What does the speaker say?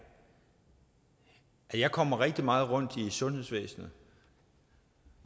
jeg kommer rigtig meget rundt i sundhedsvæsenet